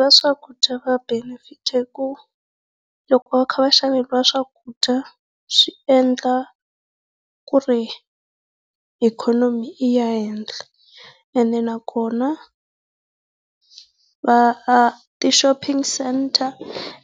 va swakudya va benefita hi ku loko va kha va xaveriwa swakudya, swi endla ku ri ikhonomi yi ya ehenhla. Ene nakona va ti shopping centre